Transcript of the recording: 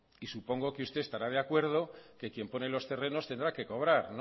y supongo que usted estará de acuerdo que quien pone los terrenos tendrá que cobrar